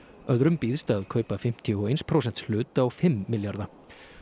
öðrum býðst að kaupa fimmtíu og eitt prósenta hlut á fimm milljarða